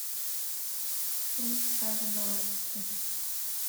фильм стражи галактики